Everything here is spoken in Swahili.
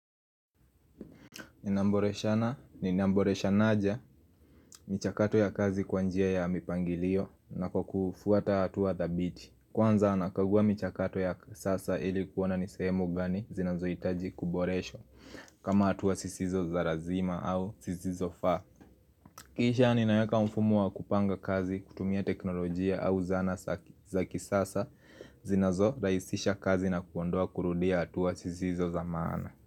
Ninamboreshana, ninamboreshanaja, michakato ya kazi kwa njia ya mipangilio na kwa kufuata hatua dhabiti. Kwanza nakaguwa michakato ya kisasa ili kuona ni sehemu gani zinazohitaji kuboreshwa kama hatuwa sisizo za lazima au zisizo faa Kisha ninaweka umfumu wa kupanga kazi, kutumia teknolojia au zana za kisasa zinazo rahisisha kazi na kuondoa kurudia hatuwa zisizo za maana.